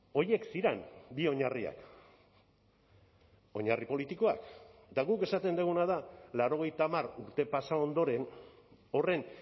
horiek ziren bi oinarriak oinarri politikoak eta guk esaten duguna da laurogeita hamar urte pasa ondoren horren